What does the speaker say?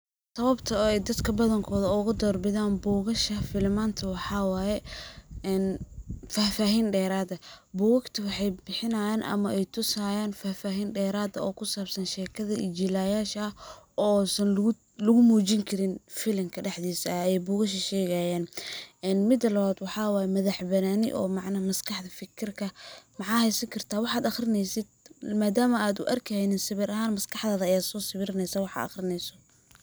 Sawabta ay dadka badankood uga doorbidaan buugasha filimanta waxa waye ,een fahfaahin dheraad eh .Bugaagta waxa ay bixinayaan ama ay tusayaan fahfaahin dheraad ah oo ku saabsan shekada iyo jilayaasha oo san lagu muujin karin filimka dhaxdiisa ee ay buugasha shegayaan . Mida labaad waxa waye madax banaani oo maskaxda ,fikirka maxa heysan kartaa waxa aqrineysid madaama aad u arki haynin sawir ahaan ,maskaxdaada ayaa soo sawiraneysaa waxa aad aqrineyso.